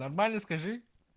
нормально скажи